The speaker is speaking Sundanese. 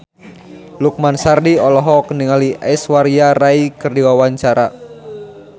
Lukman Sardi olohok ningali Aishwarya Rai keur diwawancara